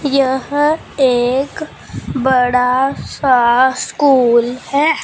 यह एक बड़ा सा स्कूल है।